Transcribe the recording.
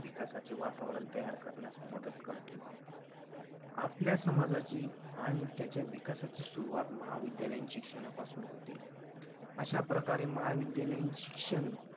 विकासाचे वातावरण तयार करण्यास मदत करते आपल्या समाजाची आणि त्याच्या विकासाची सुरुवात महाविद्यालयीन शिक्षणापासून होते अशाप्रकारे महाविद्यालयीन शिक्षण